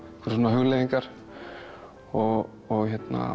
hugleiðingar og